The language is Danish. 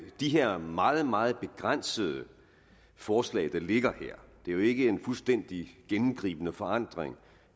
her meget meget begrænsede forslag der ligger her det er jo ikke en fuldstændig gennemgribende forandring